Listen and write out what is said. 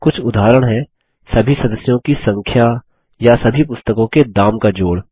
कुछ उदाहरण हैं सभी सदस्यों की संख्या या सभी पुस्तकों के दाम का जोड़